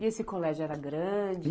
E esse colégio era grande?